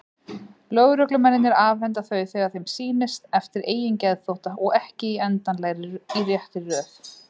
Lögreglumennirnir afhenda þau þegar þeim sýnist, eftir eigin geðþótta, og ekki endilega í réttri röð.